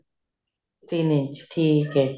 ਤਿੰਨ ਇੰਚ ਠੀਕ ਹੈ